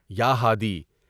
یا ہادی!